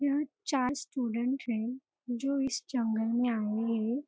यहाँ चार स्टूडेंट है जो इस जंगल में आए हैं।